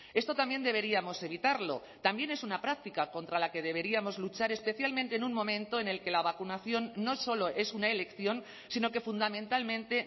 esto también deberíamos evitarlo también es una práctica contra la que deberíamos luchar especialmente en un momento en el que la vacunación no solo es una elección sino que fundamentalmente